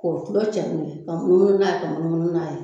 K'o kulo cari n'oi ye ka munumunu n'a ye ka munumunu n'a ye